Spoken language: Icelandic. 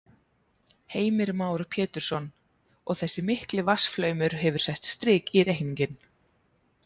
Heimir Már Pétursson: Og þessi mikli vatnsflaumur hefur sett strik í reikninginn?